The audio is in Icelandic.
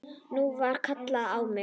Nú var kallað á mig!